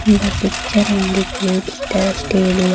the picture indicates the stadium.